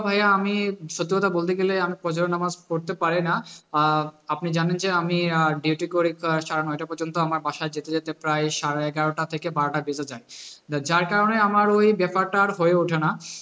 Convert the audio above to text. আপনি জানেন যে আমি duty করি সাড়ে নয়টা পযন্ত আমার বাসায় যেতে যেতে প্রায় সাড়ে এগারোটা থেকে বারোটা বেজে যায় যা~ যার কারণে আমার ওই ব্যাপারটা আর হয়ে ওঠে না